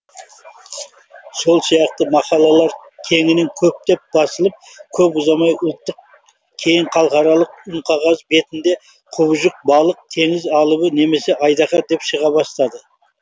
сол сияқты мақалалар кеңінен көптеп басылып көп ұзамай ұлттық кейін халықаралық үнқағаз бетінде құбыжық балық теңіз алыбы немесе айдаһар деп шыға бастады